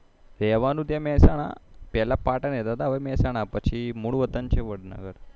રેહવાનું ત્યાં મેહસાણ પેહલા પાટણ રેહતા હવે મેહસાણા મૂળ વતન વડનગર